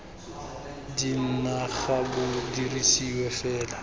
dna ga bo dirisiwe fela